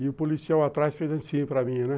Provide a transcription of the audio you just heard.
E o policial atrás fez assim para mim, né?